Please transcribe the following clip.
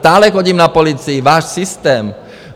Stále chodím na policii, váš systém.